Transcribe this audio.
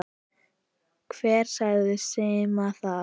Hver sagði Simma það?